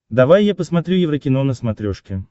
давай я посмотрю еврокино на смотрешке